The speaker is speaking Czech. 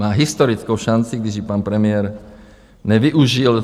Má historickou šanci, když ji pan premiér nevyužil.